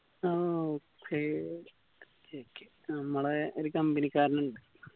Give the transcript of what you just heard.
ആ okay okay okay നമ്മളെ ഒരു company ക്കാരനിണ്ട്‌